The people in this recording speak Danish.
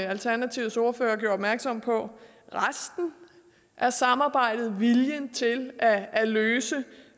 alternativets ordfører gjorde opmærksom på resten af samarbejdet og viljen til at at løse